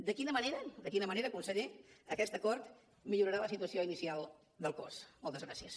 de quina manera conseller aquest acord millorarà la situació inicial del cos moltes gràcies